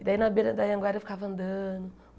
E daí, na beira da Anhanguera, eu ficava andando.